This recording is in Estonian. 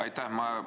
Aitäh!